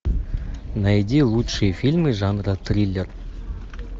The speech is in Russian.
найди лучшие фильмы жанра триллер